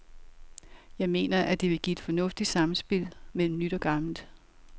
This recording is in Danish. Jeg mener, at det vil give et fornuftigt samspil mellem nyt og gammelt.